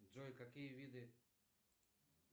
джой какие виды